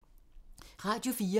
Radio 4